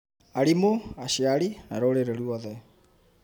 arimũ, aciari, na rũrĩrĩ ruothe.